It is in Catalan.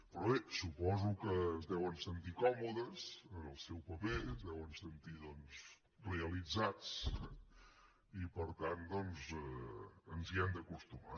però bé suposo que es deuen sentir còmodes en el seu paper es deuen sentir realitzats eh i per tant doncs ens hi hem d’acostumar